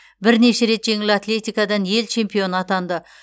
бірнеше рет жеңіл атлетикадан ел чемпионы атынды